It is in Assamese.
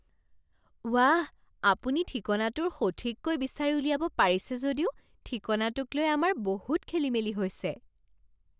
ৱাঃ! আপুনি ঠিকনাটোৰ সঠিককৈ বিচাৰি উলিয়াব পাৰিছে যদিও ঠিকনাটোকলৈ আমাৰ বহুত খেলি মেলি হৈছে।